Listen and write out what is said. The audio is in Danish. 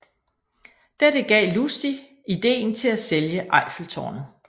Dette gav Lustig ideen til at sælge Eiffeltårnet